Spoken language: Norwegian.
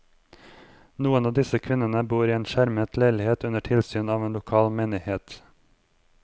Noen av disse kvinnene bor i en skjermet leilighet under tilsyn av en lokal menighet.